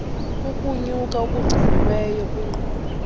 kukunyuka okugciniweyo kwiqondo